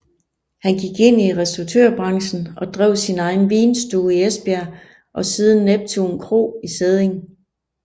Han gik ind i restauratørbranchen og drev sin egen vinstue i Esbjerg og siden Neptun Kro i Sædding